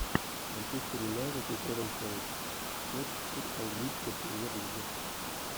манчестер юнайтед и тоттенхэм хотспур английская премьер лига